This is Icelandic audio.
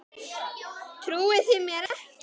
Trúið þið mér ekki?